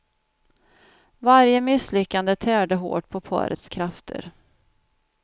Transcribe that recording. Varje misslyckande tärde hårt på parets krafter.